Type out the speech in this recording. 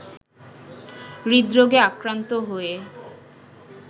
হৃদরোগে আক্রান্ত হয়ে